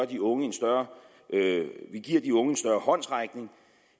de unge en større håndsrækning